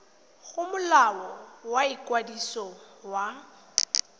go molao wa ikwadiso wa